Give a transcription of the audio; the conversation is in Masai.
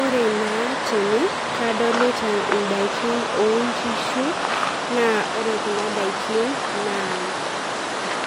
Ore naa tene kadolita indaikin onkishu naa ore kuna daikin naa